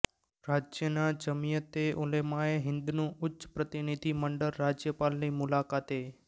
રાજ્યનાં જમિયતે ઉલેમાએ હિંદનું ઉચ્ચ પ્રતિનિધિ મંડળ રાજ્યપાલની મુલાકાતે